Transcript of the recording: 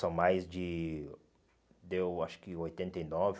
São mais de... Deu, acho que, oitenta e nove